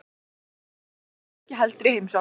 Af hverju farið þið ekki heldur í heimsókn?